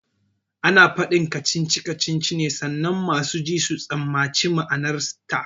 Ana faɗin kacici kacici ne sannan masu ji su tsammaci ma'anarta